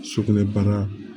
Sugunɛbana